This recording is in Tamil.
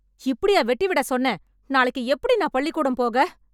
இப்படியா வெட்டி விட சொன்னேன், நாளைக்கு எப்படி நான் பள்ளிக்கூடம் போக?